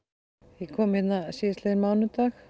ég kom hérna síðastliðinn mánudag